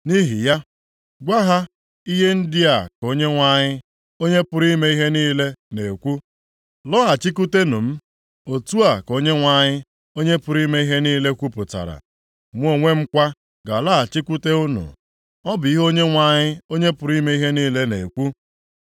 Nʼihi ya, gwa ha, ihe ndị a ka Onyenwe anyị, Onye pụrụ ime ihe niile, na-ekwu. ‘Lọghachikwutenụ m,’ otu a ka Onyenwe anyị, Onye pụrụ ime ihe niile kwupụtara, ‘Mụ onwe m kwa ga-alọghachikwute unu.’ Ọ bụ ihe Onyenwe anyị Onye pụrụ ime ihe niile, na-ekwu.